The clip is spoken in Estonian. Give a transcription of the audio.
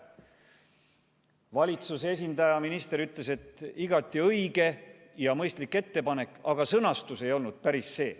Valitsust esindav minister ütles, et igati õige ja mõistlik ettepanek, aga sõnastus ei olnud päris see.